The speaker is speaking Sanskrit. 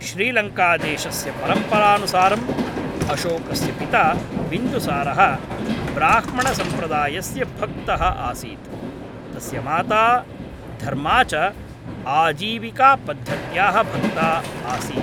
श्रीलङ्कादेशस्य परम्परानुसारम् अशोकस्य पिता बिन्दुसारः ब्राह्मणसम्प्रदायस्य भक्तः आसीत्, तस्य माता धर्मा च आजीविकापद्धत्याः भक्ता आसीत्।